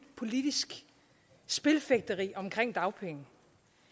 politisk spilfægteri omkring dagpenge